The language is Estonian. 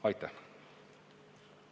Aitäh!